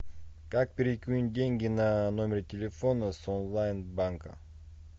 как перекинуть деньги на номер телефона с онлайн банка